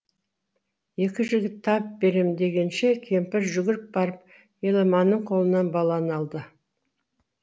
екі жігіт тап берем дегенше кемпір жүгіріп барып еламанның қолынан баланы алды